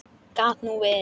Gat nú verið.